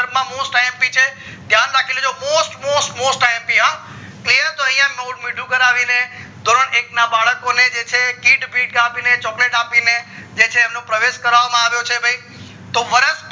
સંદર્ભ માં most imp છે ધ્યાન રાખી લેજો most most most imp આ clear તો યા ગોળ મીંડું કરાવીને ધોરણ એક ના બાળકો ને છે gift બીફ્ત chocolate આપીને જે છે એમનો પ્રવેશ કરવામાં આવ્યો છે ભય તો વરસ